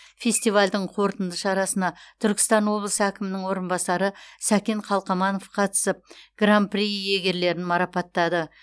фестивальдің қорытынды шарасына түркістан облысы әкімінің орынбасары сәкен қалқаманов қатысып гран при иегерлерін марапаттады